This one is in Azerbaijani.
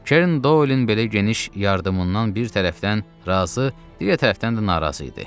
Kern Doylin belə geniş yardımından bir tərəfdən razı, digər tərəfdən də narazı idi.